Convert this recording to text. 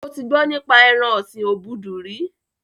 Ṣé o ti gbọ́ nípa ẹran ọ̀sin obudu rí?